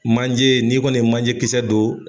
Manje n'i kɔni ye manje kisɛ don